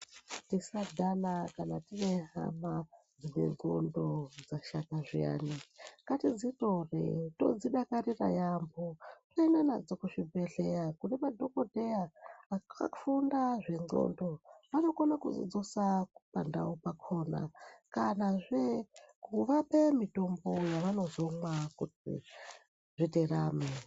Tisa dhana kana tine hama dzine ndxondo dzashata zviyani ngatidzi tore todzi dakarira yambo tooenda nadzo ku zvibhedhlera kune madhokodheya aka funda zve ndxondo anokona kudzi dzosa pandau pakona kanazve kuvape mitombo yava nozomwa kuti zviterame.